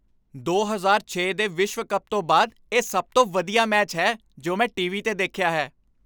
ਦੋ ਹਜ਼ਾਰ ਛੇ ਦੇ ਵਿਸ਼ਵ ਕੱਪ ਤੋਂ ਬਾਅਦ ਇਹ ਸਭ ਤੋਂ ਵਧੀਆ ਮੈਚ ਹੈ ਜੋ ਮੈਂ ਟੀਵੀ 'ਤੇ ਦੇਖਿਆ ਹੈ